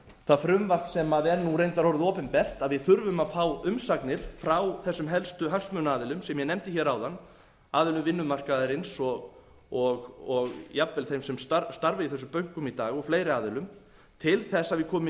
það frumvarp sem er nú reyndar orðið opinbert að við þurfum að fá umsagnir frá þessum helstu hagsmunaaðilum sem ég nefndi hér áðan aðilum vinnumarkaðarins og jafnvel þeim sem starfa í þessum bönkum í dag og fleiri aðilum til þess að koma í